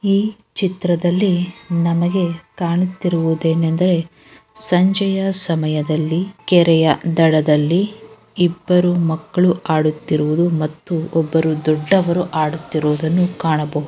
ಈ ಚಿತ್ರದಲ್ಲಿ ನಮಗೆ ಕಾಣುತ್ತಿರುದೇನೆಂದರೆ ಸಂಜೆಯ ಸಮಯದಲ್ಲಿ ಕೆರೆಯ ದಡದ್ದಲ್ಲಿ ಇಬ್ಬರು ಮಕ್ಕಳು ಆಡುತ್ತಿರುವುದು ಮತ್ತು ಒಬ್ಬರು ದೊಡ್ಡವರು ಆಡುತ್ತಿರುವುದನ್ನು ಕಾಣಬಹುದು .